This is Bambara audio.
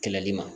Kɛlɛli ma